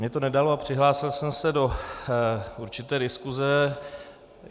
Mně to nedalo a přihlásil jsem se do určité diskuse.